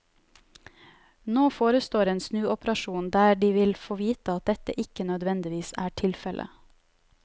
Nå forestår en snuoperasjon der de vil få vite at dette ikke nødvendigvis er tilfelle.